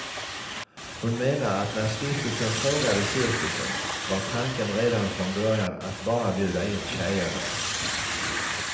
Hon menar att när stiftelsen frågade cirkusen var tanken redan från början att bara bjuda in tjejerna.